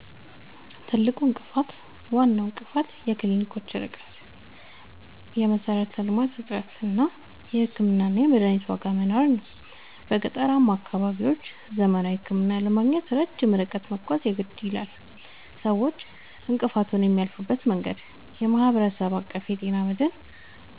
ትልቁ እንቅፋት፦ ዋናው እንቅፋት የክሊኒኮች ርቀት (የመሠረተ-ልማት እጥረት) እና የሕክምናና የመድኃኒት ዋጋ መናር ነው። በገጠራማ አካባቢዎች ዘመናዊ ሕክምና ለማግኘት ረጅም ርቀት መጓዝ የግድ ይላል። ሰዎች እንቅፋቱን የሚያልፉበት መንገድ፦ የማህበረሰብ አቀፍ የጤና መድን፦